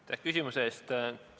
Aitäh küsimuse eest!